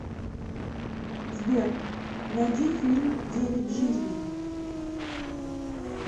сбер найди фильм девять жизней